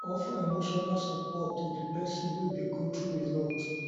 offer emotional support to di person wey dey go through alot